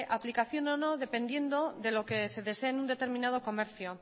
aplicación o no dependiendo de lo que se desee en un determinado comercio